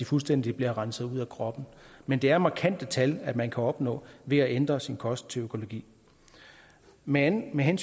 fuldstændig at blive renset ud af kroppen men det er markante tal man kan opnå ved at ændre sin kost til økologi men men